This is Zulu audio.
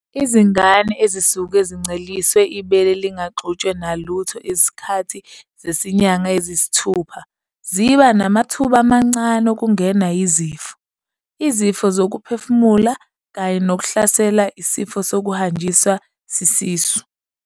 Izingane ezisuke zinceliswe ibele lingaxutshwe nalutho isikhathi sezinyanga eziyisithupha ziba namathuba amancane okungenwa yizifo, izifo zokuphefumula, kanye nokuhlaselwa isifo sokuhanjiswa sisisu.